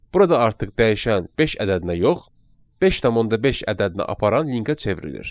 Burada artıq dəyişən beş ədədinə yox, 5.5 ədədinə aparan linkə çevrilir.